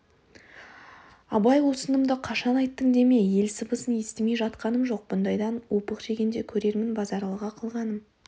абай осынымды қашан айттың деме ел сыбысын естімей жатқаным жоқ бұндайдан опық жегенде көрермін базаралыға қылғаным